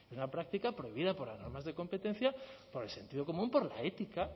es una práctica prohibida por las normas de competencia por el sentido común por la ética